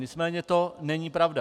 Nicméně to není pravda.